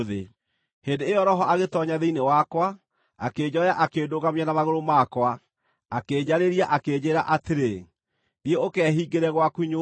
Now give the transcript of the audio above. Hĩndĩ ĩyo Roho agĩtoonya thĩinĩ wakwa, akĩnjoya akĩndũgamia na magũrũ makwa. Akĩnjarĩria, akĩnjĩĩra atĩrĩ, “Thiĩ ũkehingĩre gwaku nyũmba.